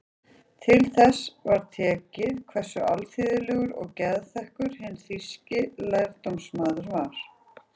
Til þess var tekið hversu alþýðlegur og geðþekkur hinn þýski lærdómsmaður var.